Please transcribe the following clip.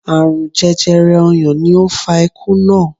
Aarun jẹjẹrẹ ọyàn ni ó fa ikú naa